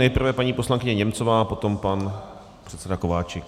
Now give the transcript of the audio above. Nejprve paní poslankyně Němcová, potom pan předseda Kováčik.